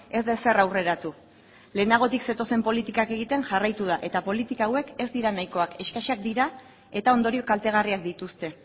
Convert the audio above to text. ez da ezer aurreratu lehenagotik zetozen politikak egiten jarraitu da eta politika hauek ez dira nahikoak eskasak dira eta ondorio kaltegarriak dituzte